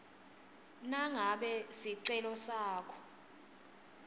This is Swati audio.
nangabe sicelo sakho